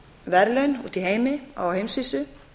verðlaun úti í heimi á heimsvísu